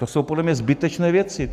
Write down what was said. To jsou podle mě zbytečné věci.